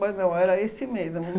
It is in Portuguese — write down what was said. Mas, não, era esse mesmo.